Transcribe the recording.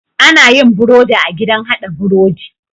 Anayin birodi a gidan hada birodi